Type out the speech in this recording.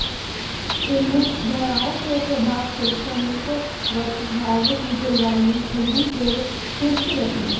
इन धाराओं के प्रभाव से समीपवर्ती भाग की जलवायु ठण्डी एवं शुष्क रहती है